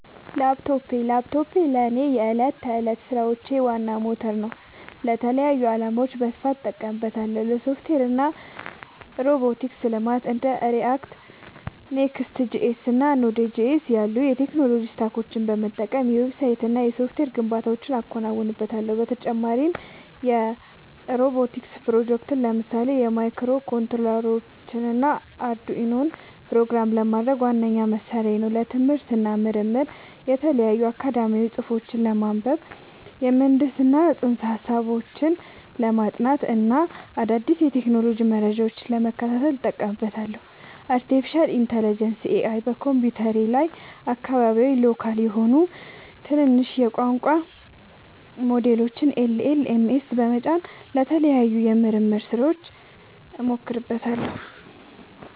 ላፕቶፕ ላፕቶፔ ለእኔ የዕለት ተዕለት ሥራዎቼ ዋና ሞተር ነው። ለተለያዩ ዓላማዎች በስፋት እጠቀምበታለሁ - ለሶፍትዌር እና ሮቦቲክስ ልማት እንደ React፣ Next.js እና Node.js ያሉ የቴክኖሎጂ ስታኮችን በመጠቀም የዌብሳይትና የሶፍትዌር ግንባታዎችን አከናውንበታለሁ። በተጨማሪም የሮቦቲክስ ፕሮጀክቶችን (ለምሳሌ ማይክሮኮንትሮለሮችንና አርዱኢኖን) ፕሮግራም ለማድረግ ዋነኛ መሣሪያዬ ነው። ለትምህርት እና ምርምር የተለያዩ አካዳሚያዊ ጽሑፎችን ለማንበብ፣ የምህንድስና ፅንሰ-ሀሳቦችን ለማጥናት እና አዳዲስ የቴክኖሎጂ መረጃዎችን ለመከታተል እጠቀምበታለሁ። ለአርቲፊሻል ኢንተለጀንስ (AI) በኮምፒውተሬ ላይ አካባቢያዊ (local) የሆኑ ትናንሽ የቋንቋ ሞዴሎችን (LLMs) በመጫን ለተለያዩ የምርምር ሥራዎች እሞክራቸዋለሁ።